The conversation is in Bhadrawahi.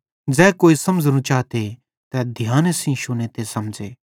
ज़ै कोई समझ़नू चाते तै ध्याने सेइं शुने ते समझ़े